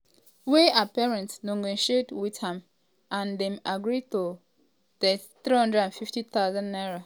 um wey her parents negotiate wit am and dem agree to um pay 350000 naira.